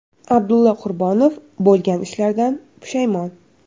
Abdulla Qurbonov bo‘lgan ishlardan pushaymon.